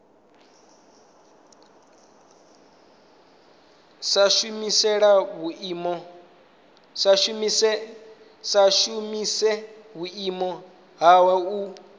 sa shumise vhuimo hawe u